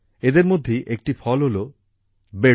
এদের মধ্যেই একটি ফল হলো বেডু